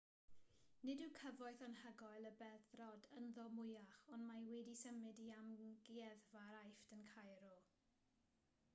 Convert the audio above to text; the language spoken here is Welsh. nid yw cyfoeth anhygoel y beddrod ynddo mwyach ond mae wedi'i symud i amgueddfa'r aifft yn cairo